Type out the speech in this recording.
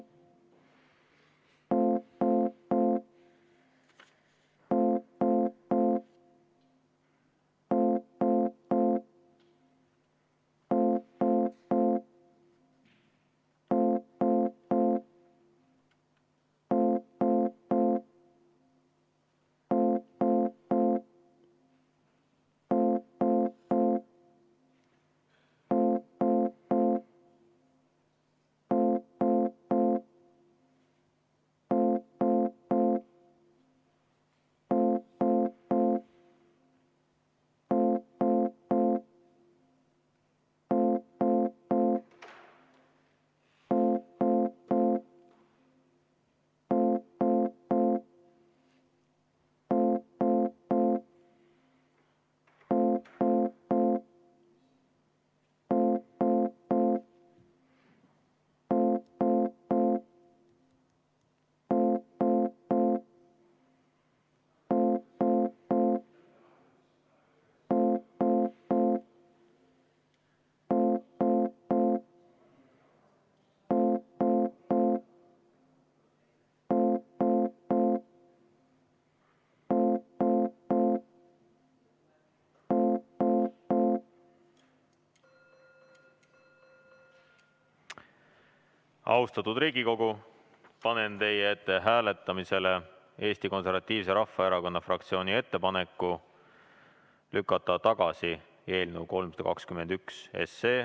Austatud Riigikogu, panen hääletusele Eesti Konservatiivse Rahvaerakonna fraktsiooni ettepaneku lükata tagasi eelnõu 321.